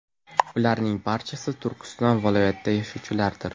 Ularning barchasi Turkiston viloyatida yashovchilardir.